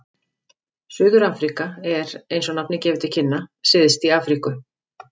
Suður-Afríka er, eins og nafnið gefur til kynna, syðst í Afríku.